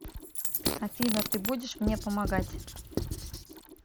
афина ты будешь мне помогать